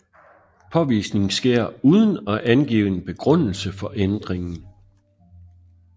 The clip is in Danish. Påvisning sker uden at angive en begrundelse for ændringen